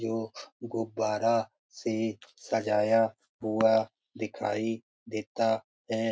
जो गुब्बारा से सजाया हुआ दिखाई देता है।